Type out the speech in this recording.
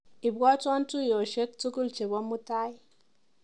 Ibwatwa tuiyoshek tukul chebo mutai.